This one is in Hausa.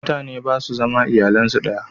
Mutane ba su zama da iyalan su yanzu